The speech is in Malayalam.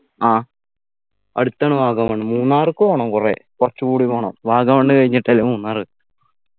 ആ അടുത്താണ് വാഗമണ് മൂന്നാർക്ക് പോണം കൊറേ കൊറച്ച്കൂടി പോണം വാഗമൺ കഴിഞ്ഞിട്ടല്ലേ മൂന്നാറ്